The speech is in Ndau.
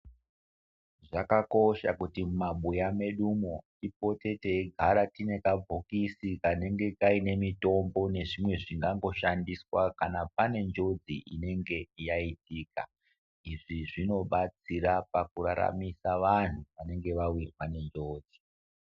Zvakakosha kuti mumabuya medumo tipote teigara tine kabhokisi, kanenge kaine mutombo nezvimwe zvingango shandiswa, kana pane njodzi inenge yaitika. Izvi zvinobatsira paku raramisa vantu vanenge vawirwa nenjodzi